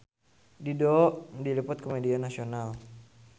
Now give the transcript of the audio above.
Dido diliput ku media nasional